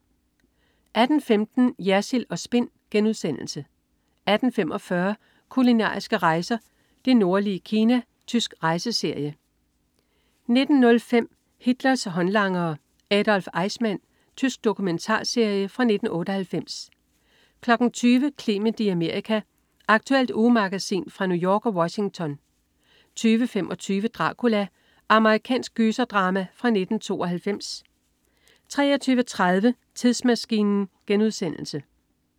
18.15 Jersild & Spin* 18.45 Kulinariske rejser: Det nordlige Kina. Tysk rejseserie 19.05 Hitlers håndlangere. Adolf Eichmann. Tysk dokumentarserie fra 1998 20.00 Clement i Amerika. Aktuelt ugemagasin fra New York og Washington 20.25 Dracula. Amerikansk gyserdrama fra 1992 23.30 Tidsmaskinen*